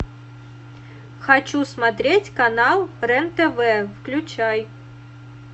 хочу смотреть канал рен тв включай